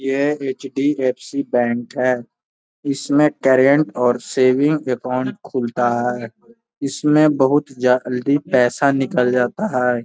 यह HDFC. Bank है। इसमें करंट और सेविंग अकाउंट खुलता है। इसमें बहोत जल्दी पैसा निकल जाता है।